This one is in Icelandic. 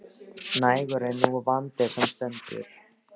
Nægur er nú vandinn sem stendur.